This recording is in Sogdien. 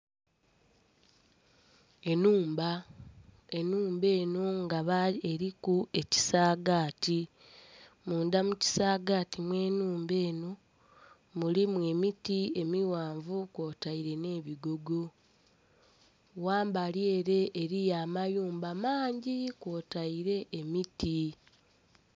Ennhumba, ennhumba enho nga eliku ekisaagati. Munda mu kisagaati mw'ennhumba enho, mulimu emiti emighanvu kwotaire nh'ebigogo. Ghambali ere eliyo amayumba mangi kwotaire emiti.